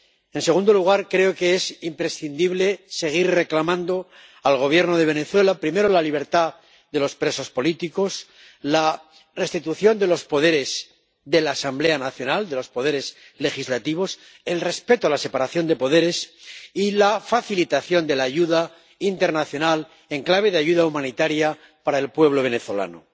En segundo lugar, creo que es imprescindible seguir reclamando al Gobierno de Venezuela la libertad de los presos políticos, la restitución de los poderes de la Asamblea Nacional —de los poderes legislativos—, el respeto a la separación de poderes y la facilitación de la ayuda internacional en clave de ayuda humanitaria para el pueblo venezolano.